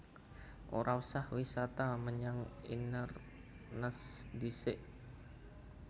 Ora usah wisata menyang Inverness ndhisik